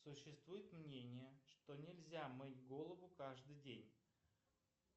существует мнение что нельзя мыть голову каждый день